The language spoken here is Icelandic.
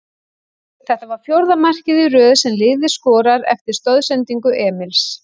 Þetta var fjórða markið í röð sem liðið skorar eftir stoðsendingu Emils.